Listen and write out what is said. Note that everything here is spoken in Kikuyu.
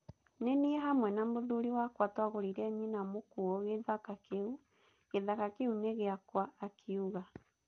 Nĩ niĩ hamwe na mũthuuri wakwa twagũrĩire nyina mũkuũ gĩthaka kĩu, gĩthaka kĩu nĩ gĩakwa, 'akĩuga.